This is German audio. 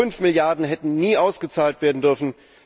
5 Milliarden hätten nie ausgezahlt werden dürfen.